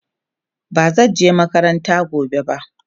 bazan je makaranta gobe ba